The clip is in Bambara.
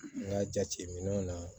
N ka jateminɛw na